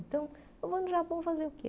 Então, eu vou no Japão fazer o quê?